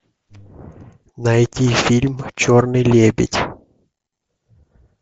найти фильм черный лебедь